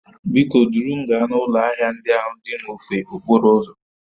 Biko duru m gaa n'ụlọ ahịa ndị ahụ dị n'ofe okporo ụzọ